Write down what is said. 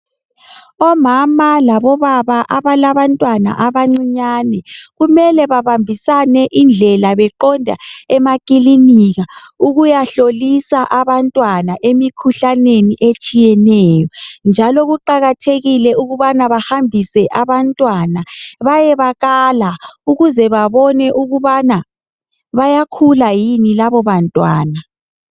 Omama labobaba abalabantwana abancinyane kumele babambisane indlela beqonda emakilinika ukuyahlolisa abantwana emikhuhlaneni etshiyeneyo njalo kuqakathekile etshiyeneyo njalo kuqakathekile ukubana bahambise abantwana bayebakala ukuze babone ukubana bayakhula yini labo bantwana.